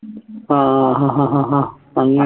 ആഹ് ഹഹ ഹ അങ്ങനെ